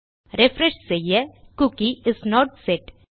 refresh செய்ய cookie is not set